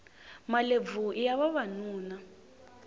malebvu iya vavanuna